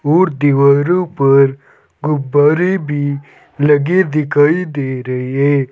और दीवारों पर गुब्बारे भी लगे दिखाई दे रहे है।